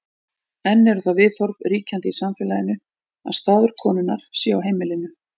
enn eru þau viðhorf ríkjandi í samfélaginu að staður konunnar sé á heimilinu